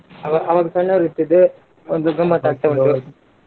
ಅವಾ~ ಅವಾಗ್ ಸಣ್ಣೋರಿರ್ತಿದ್ವಿ ಒಂದು .